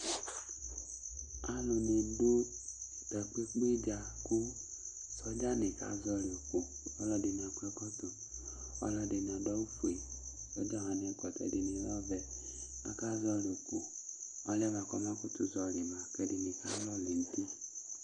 Aluni du takpekpe dza ku sɔdzani ka zɔlɩ ʋkʋ Alu ɛdɩnɩ akɔ ɛkɔtɔ, alu ɛdɩnɩ adu awʋfue, ku ɔga wani ɛkɔtɔ dɩnɩ avɛ Aka zɔlɩ ʋkʋ Ɔlʋ yɛ buakʋ ɔma kutu zɔlɩ ba kʋ ɛdɩnɩ alɔlɛ nʋ uti